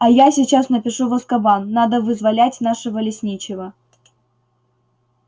а я сейчас напишу в азкабан надо вызволять нашего лесничего